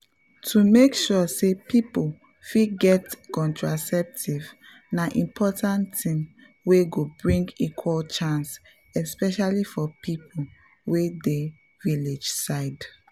to make sure say people fit get contraceptive na important thing wey go bring equal chance especially for people wey dey village side.